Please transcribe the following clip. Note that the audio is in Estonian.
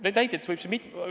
Neid näiteid võib siin mitu tuua.